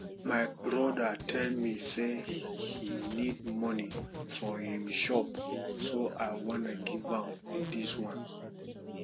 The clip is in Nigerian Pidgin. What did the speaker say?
my brother tell me say he need money for im shop so i wan give am dis one